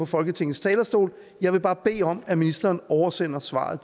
folketingets talerstol og jeg vil bare bede om at ministeren oversender svaret